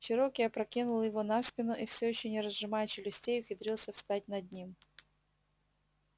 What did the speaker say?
чероки опрокинул его на спину и всё ещё не разжимая челюстей ухитрился встать над ним